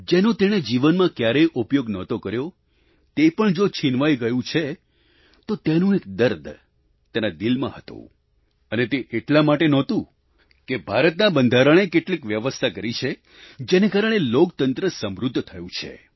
જેનો તેણે જીવનમાં ક્યારેય ઉપયોગ નહોતો કર્યો તે પણ જો છીનવાઈ ગયું છે તો તેનું એક દર્દ તેના દિલમાં હતું અને તે એટલા માટે નહોતું કે ભારતના બંધારણે કેટલીક વ્યવસ્થા કરી છે જેને કારણે લોકતંત્ર સમૃદ્ધ થયું છે